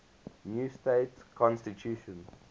new state constitution